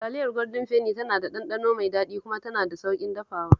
Taliyar Gwaldin Feni tana da ɗanɗano mai daɗi kuma tana da sauƙin dafawa